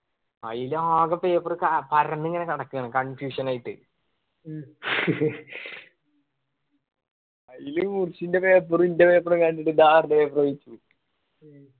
ആയിലാകെ paper കാ പരന്നിങ്ങന കെടക്കാണ് confusion ആയിട്ട്. അയില് മുർശിന്റെ paper ഇന്റെ paper ഒക്കെ കണ്ടിട്ട് ഞാൻ ആടിന്ന് paper വാങ്ങിച്ച്